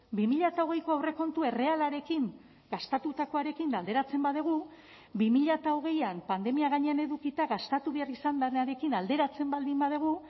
bi mila hogeiko aurrekontu errealarekin gastatutakoarekin alderatzen badugu bi mila hogeian pandemia gainean edukita gastatu behar izan denarekin alderatzen baldin badugu